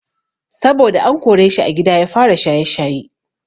Saboda an koreshi a gida ya fara shaye-shaye.